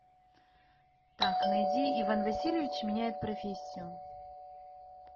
так найди иван васильевич меняет профессию